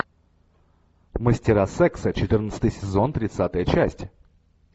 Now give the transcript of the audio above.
мастера секса четырнадцатый сезон тридцатая часть